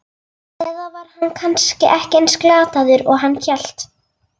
Eða var hann kannski ekki eins glataður og hann hélt?